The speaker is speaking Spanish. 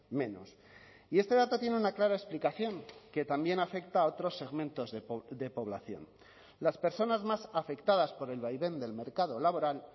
menos y este dato tiene una clara explicación que también afecta a otros segmentos de población las personas más afectadas por el vaivén del mercado laboral